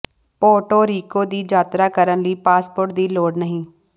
Puerto Rico ਦੀ ਯਾਤਰਾ ਕਰਨ ਲਈ ਪਾਸਪੋਰਟ ਦੀ ਲੋੜ ਨਹੀਂ